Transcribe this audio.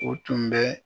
O tun bɛ